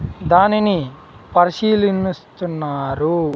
దానిని పరిశీలిన్నిస్తున్నారు .